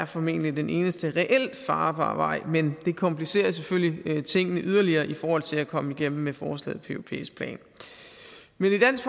formentlig den eneste reelt farbare vej men det komplicerer selvfølgelig tingene yderligere i forhold til at komme igennem med forslaget på europæisk plan men i dansk